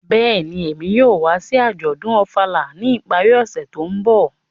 Bẹ́ẹ̀ni, Emi yóò wa si ajọdun Ofala ni ipari ọse to nbọ.